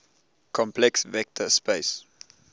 complex vector space